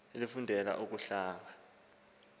elifundela ukuhlangula ulwazi